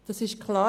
Das ist klar.